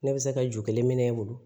Ne bɛ se ka ju kelen minɛ i bolo